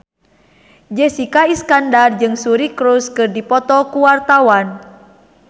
Jessica Iskandar jeung Suri Cruise keur dipoto ku wartawan